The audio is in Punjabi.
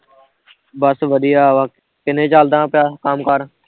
ਬਸ ਵਧੀਆ ਵਾਂ, ਕਿਵੇ ਚੱਲਦਾ ਪਿਆ ਕੰਮ ਕਾਰ